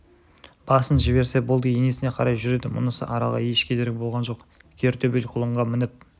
басын жіберсе болды енесіне қарай жүреді мұнысы аралға еш кедергі болған жоқ кер төбел құлынға мініп